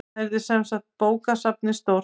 Þarna yrði semsagt bókasafn stórt.